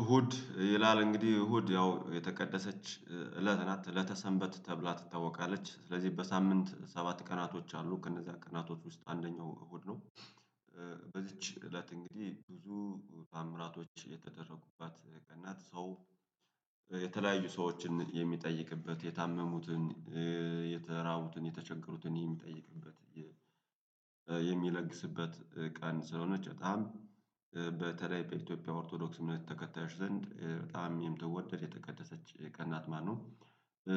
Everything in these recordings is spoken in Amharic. እሁድ ይላል እንግዲህ እሁድ ያው የተቀደሰች እለት ናት እለተ ሰንበት ተብላ ትታወቃለች ስለዚህ በሳምንት ሰባት ቀናቶች አሉ ከነዛ ቀናቶች ውስጥ አንደኛው እሁድ ነው። በዚች እለት እንግዲህ ብዙ ተአምራቶች የተደረጉባት ቀና ሰው የተለያዩ ሰዎችን የሚጠይቅበት የታመሙትን የተራቡትን የተቸገሩትን የሚጠይቅበት የሚለግስበት ቀን ስለሆነች በጣም በተለይ በኢትዮጵያ ኦርቶዶክስ እምነት ተከታዮች ዘንድ በጣም የምትወደድ የተቀደሰች ቀንናት ማለትነው።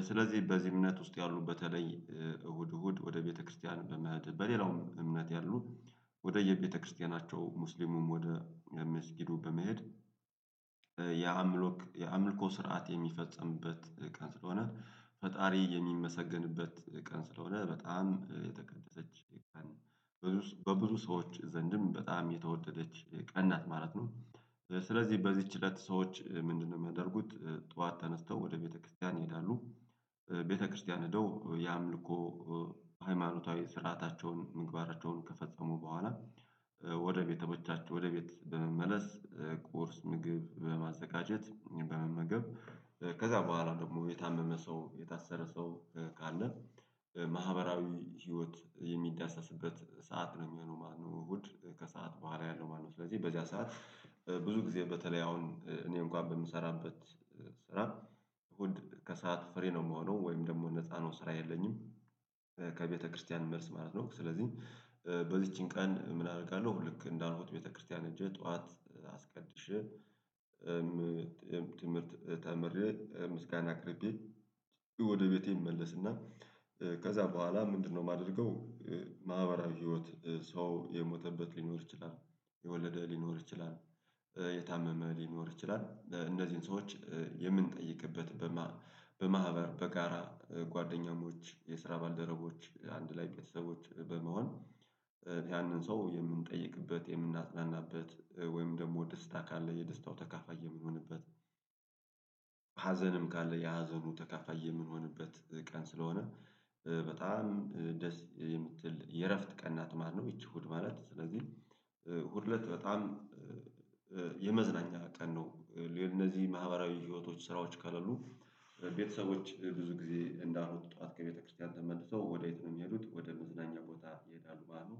ስለዚህ በዚህ እምነት ውስጥ ያሉ በተለይ እሁድ እሁድ ወደ ቤተክርስቲያን በመሄድ በሌላውም እምነት ያሉ ወደየቤተክርስቲያናቸው ሙስሊሙም ወደ መስጊዱ በመሄድ የአምልኮ ስርዓት የሚፈጸምበት ቀን ስለሆነ ፈጣሪ የሚመሰገንበት ቀን ስለሆነ በጣም የተቀደሰች በብዙ ሰዎች ዘንድም በጣም የተወደደች ቀንናት ማለት ነው። ስለዚህ በዚህች እለት ሰዎች ምንድነው የሚያደርጉት ጠዋት ተነስተው ወደ ቤተክርስቲያን ይሄዳሉ። ቤተክርስቲያን ሂደው የአምልኮ ሃይማኖታዊ ስርአታቸውን ምግባራቸውን ከፈጸሙ በኋላ ወደ ቤተቦቻቸው ወደ ቤት በመመለስ ቁርስ ምግብ በማዘጋጀት እንዲሁምመመገብ። ከዛ በኋላ ደግሞ የታመመ ሰው የታሰረ ሰው ካለ ማህበራዊ ህይወት የሚዳሳስበት ሰዓት ነው የሚሆነው ማለት ነው። እሁድ ከሰአት በኋላ ያለው ማለት ነው ስለዚህ በዚያ ሰዓት ብዙ ጊዜ በተለይ አሁን እኔ እንኳን በምሰራበት ስራ እሁድ ከሰአት ፍሬ ነው የምሆነው ወይም ደግሞ ነፃ ነው ስራ የለኝም። ከቤተክርስቲያን መልስ ማለት ነው ስለዚህ በዚችን ቀን ምን አደርጋለሁ ልክ እንዳልሁት ቤተክርስቲያን ሂጄ ጠዋት አስቀድሼ ትምህርት ተምሬ ምስጋና አቅርቤ ወደ ቤቴ እመለስና ከዛ በኋላ ምንድነው የማደርገው? ማህበራዊ ህይወት ሰው የሞተበት ሊኖር ይችላል። የወለደ ሊኖር ይችላል። የታመመ ሊኖር ይችላል እንደዚህን ሰዎች የምንጠይቅበት። በማህበር በጋራ ጓደኛሞች የስራ ባልደረቦች አንድ ላይ ቤተሰቦች በመሆን ያንን ሰው የምንጠይቅበት የምናጽናናበት ወይም ደግሞ ደስታ ካለ የደስታው ተካፋይ የምንሆንበት። ሀዘንም ካለ የሀዘኑ ተካፋይ የምንሆንበት ቀን ስለሆነ በጣም ደስ የምትል የእረፍት ቀን ናት ማለት ነው። ይቺ እሁድ ማለት ስለዚህ እሁድ እለት በጣም የመዝናኛ ቀን ነው። ለነዚህ ማህበራዊ ህይወቶች ስራዎች ከለሉ ቤተሰቦች ብዙ ጊዜ እንዳልሁት ጠዋት ከቤተክርስቲያን ተመልሰው ወዴት ነው የሚሄዱት ወደ መዝናኛ ቦታ ይሄዳሉ በዓሉ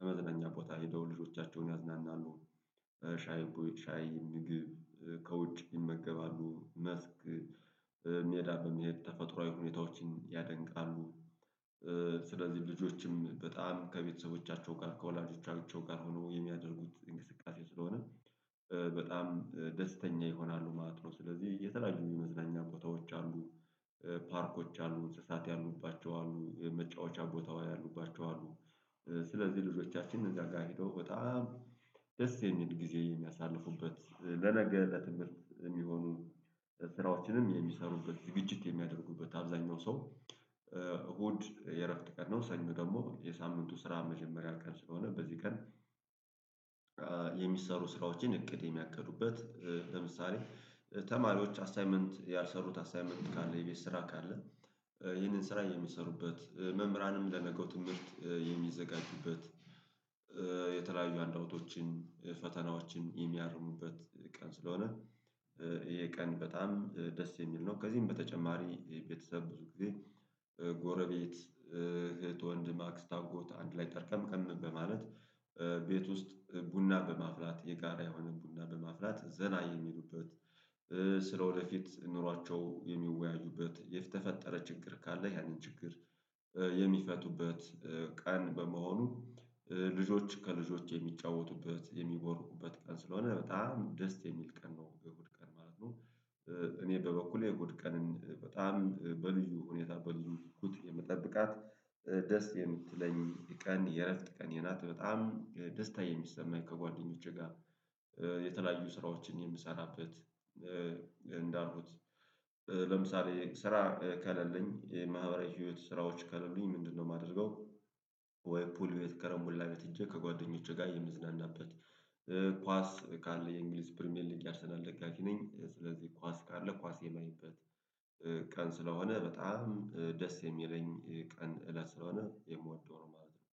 ከመዝናኛ ቦታ የሄደው ልጆቻቸውን ያዝናናሉ። ሻይ ሻይ ምግብ ከውጭ ይመገባሉ መስክ ሜዳ በመሄድ ተፈጥሮአዊ ሁኔታዎችን ያደንቃሉ። ስለዚህ ልጆችም በጣም ከቤተሰቦቻቸው ጋር ከወላጆቻቸው ጋር ሆኖ የሚያደርጉት እንቅስቃሴ ስለሆነ በጣም ደስተኛ ይሆናሉ ማለት ነው። ስለዚህ እየተለያዩ የመዝናኛ ቦታዎች አሉ። ፓርኮች አሉ እንስሳት ያሉባቸው አሉ መጫወቻ ቦታዎች ያሉባቸው አሉ። ስለዚህ ልጆቻችን እነዚያ ጋርሄደው በጣም ደስ የሚል ጊዜ የሚያሳልፉበት ለነገ ለትምህርት የሚሆኑ ስራዎችንም የሚሰሩበት ዝግጅት የሚያደርጉበት አብዛኛው ሰው እሁድ የእረፍት ቀን ነው። ሰኞ ደግሞ የሳምንቱ ስራ መጀመሪያ ቀን ስለሆነ በዚህ ቀን የሚሰሩ ስራዎችን እቅድ የሚያቅዱበት ለምሳሌ ተማሪዎች አሳይመንት ያልሰሩት አሳይመንት ካለ የቤት ስራ ካለ። ይህንን ስራ የሚሰሩበት መምህራንም ለነገው ትምህርት የሚዘጋጁበት። የተለያዩ ሀንዳውቶችን ፈተናዎችን የሚያርሙበት ቀን ስለሆነ። ይሄ ቀን በጣም ደስ የሚል ነው። ከዚህም በተጨማሪ ቤተሰብ ብዙ ጊዜ ጎረቤት እህት ወንድም አስክስ አጎት አንድ ላይ ጠርቀምቀም በማለት ቤት ውስጥ ቡና በማፍላት የጋራ የሆነ ቡና በማፍላት ዘና የሚሉበት። ስለወደፊት ኑሯቸው የሚወያዩበት የተፈጠረ ችግር ካለ ያንን ችግር የሚፈቱበት ቀን በመሆኑ። ልጆች ከልጆች የሚጫወቱበት የሚቦርቁበት ቀን ስለሆነ በጣም ደስ የሚል ቀን ነው እሁድ ቀን ማለት ነው። እኔ በበኩሌ እሁድ ቀንን በጣም በልዩ ሁኔታ በልዩ የምጠብቃት ደስ የምትለኝ የቀን የእረፍት ቀኔ ናት። በጣም ደስታ የሚሰማኝ ከጓደኞቼ ጋር የተለያዩ ስራዎችን የምሰራበት። እንዳልሁት ለምሳሌ ስራ ከሌለኝ የማህበራዊ ህይወት ስራዎች ካሉኝ ምንድነው የማደርገው? ወይ ፑል ቤት ከረምቡላ ቤት ሄጄ ከጓደኞቼ ጋር የምዝናናበት። ኳስ ካለ የእንግሊዝ ፕሪሚየር ሊግ የአርሰናል ደጋፊ ነኝ ስለዚህ ኳስ ካለ ኳስ የማየበት። ቀን ስለሆነ በጣም ደስ የሚለኝ ቀን እለት ስለሆነ የምወደው ነው ማለት ነው